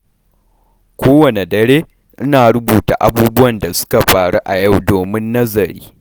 Kowanne dare, ina rubuta abubuwan da suka faru a yau domin nazari.